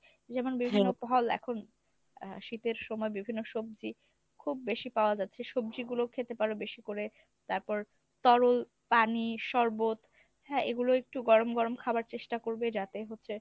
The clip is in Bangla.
যেমন বিভিন্ন ফল এখন আহ শীতের সময় বিভিন্ন সবজি খুব ‍বেশি পাওয়া যাচ্ছে সবজিগুলো খেতে পারো বেশি করে। তারপর তরল পানি শরবত হ্যাঁ এগুলো একটু গরম গরম খাবার চেষ্টা করবে যাতে হচ্ছে